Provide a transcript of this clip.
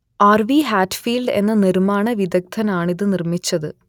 R V Hatfield എന്ന നിർമ്മാണ വിദഗ്ദ്ധനാണിത് നിർമ്മിച്ചത്